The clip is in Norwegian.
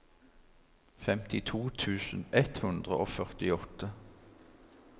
femtito tusen ett hundre og førtiåtte